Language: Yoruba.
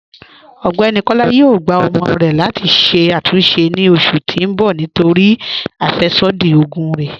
Ọgbẹ́ni Kọla yóò gbà ọ̀mọ rè láti ṣè àtúnṣe ni oṣù tì n bọ̀ nítorí afẹ́ṣodí ogun rè.